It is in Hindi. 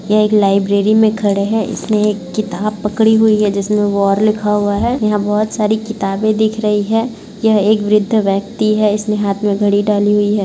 यह एक लाइब्रेरी मे खड़े है इसने एक किताब पकड़ी है जिसमे वॉर लिखा हुआ है जिसमें बहुत सारी किताबें दिख रही हैं यह एक वृद्ध व्यक्ति है इसने हाथ में घड़ी डाली हुई है।